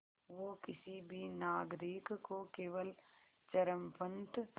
वो किसी भी नागरिक को केवल चरमपंथ